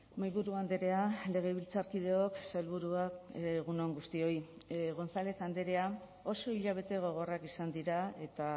mahaiburu andrea legebiltzarkideok sailburuak egun on guztioi gonzález andrea oso hilabete gogorrak izan dira eta